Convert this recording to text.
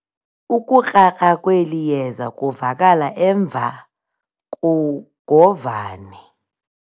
Ukukrakra kweli yeza kuvakala emva kugovane.